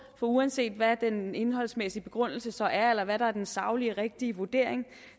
for uanset hvad den indholdsmæssige begrundelse så er eller hvad der er den saglige rigtige vurdering